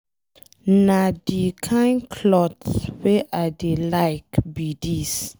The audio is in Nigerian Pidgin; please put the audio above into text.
Na the kin cloth wey I dey like be dis.